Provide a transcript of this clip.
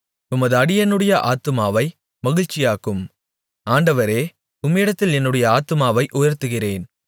உமது அடியேனுடைய ஆத்துமாவை மகிழ்ச்சியாக்கும் ஆண்டவரே உம்மிடத்தில் என்னுடைய ஆத்துமாவை உயர்த்துகிறேன்